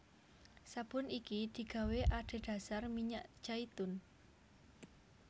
Sabun iki digawé adhedhasar minyak jaitun